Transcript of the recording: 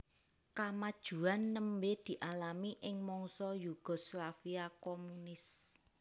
Kamajuan nembé dialami ing mangsa Yugoslavia komunis